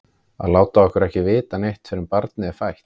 Að láta okkur ekki vita neitt fyrr en barnið var fætt!